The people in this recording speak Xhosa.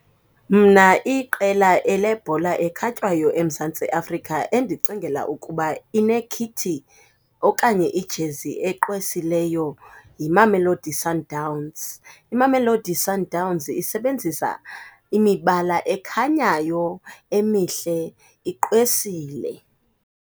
Mna iqela lebhola ekhatywayo eMzantsi Afrika endicingela ukuba inekhithi okanye ijezi egqwesileyo yiMamelodi Sundowns. IMamelodi Sundowns isebenzisa imibala ekhanyayo emihle, igqwesile.